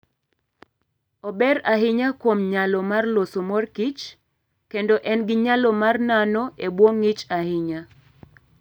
Ober ahinya kuom nyalo mar loso mor kich, kendo en gi nyalo mar nano e bwo ng'ich ahinya.